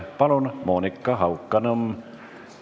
Palun, Monika Haukanõmm!